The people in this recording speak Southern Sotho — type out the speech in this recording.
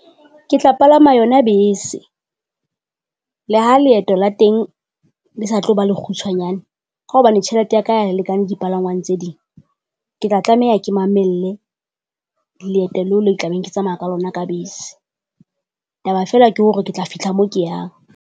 Ke tla palama yona bese. Le ha leeto la teng le sa tlo ba lekgutshwanyane, ka hobane tjhelete ya ka ha e lekane dipalangwang tse ding. Ke tla tlameha ke mamelle leeto leo le tla beng ke tsamaya ka lona ka bese. Taba feela ke hore ke tla fitlha moo ke yang.